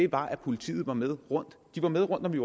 var at politiet var med rundt de var med rundt da vi